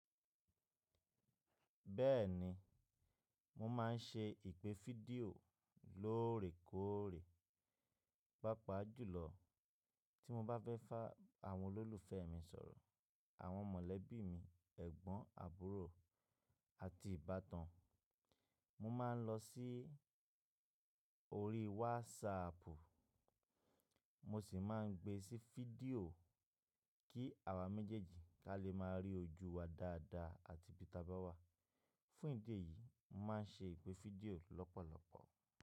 Bẹ́ẹ̀ni, mo máa ń ṣe ìpè fídíò lóòrèkóòrè, pàápàá jùlọ tí mo bá fẹ́ bá àwọn olólùfẹ́ mi sọ̀rọ̀, àwọn mọ̀lẹ́bí mi, ẹ̀gbọ́n àbúrò àti ìbátan. Mo máa ń lọ sí orí WhatsApp, mo sì máa ń gbe sí fídíò kí àwa méjèèjì bá lè máa rí ojú wa dáadáa àti bí i tabá wà. Fún ìdí èyí, mo máa ń ṣe ìpè fídíò lọ́pọ̀lọpọ̀.